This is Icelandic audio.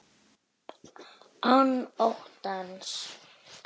Án óttans.